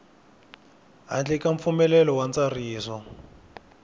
handle ka mpfumelelo wa ntsariso